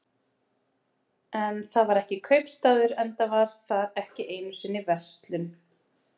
En þar var ekki kaupstaður, enda var þar ekki einu sinni verslun.